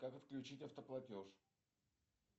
как отключить автоплатеж